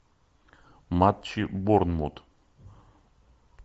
матчи борнмут